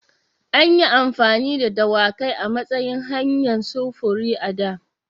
An yi amfani da dawakai a matsayin hanyar sufuri a da.